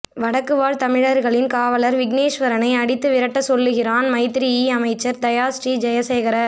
வடக்கு வாழ் தமிழர்களின் காவலர் விக்கினேஸ்வரனை அடித்து விரட்டச் சொல்லுகின்றான் மைத்திரியிஅமைச்சன் தயா ஸ்ரீ ஜய சேகர